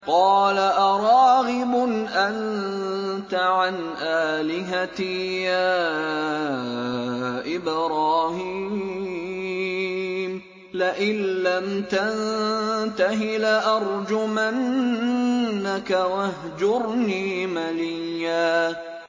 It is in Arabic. قَالَ أَرَاغِبٌ أَنتَ عَنْ آلِهَتِي يَا إِبْرَاهِيمُ ۖ لَئِن لَّمْ تَنتَهِ لَأَرْجُمَنَّكَ ۖ وَاهْجُرْنِي مَلِيًّا